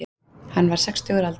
Hann var sextugur að aldri